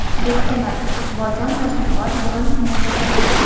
Bektemir, Iqboljon va Shunqor bugun finalda jang qiladi.